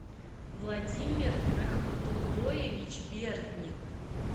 владимир рахматулоевич бердник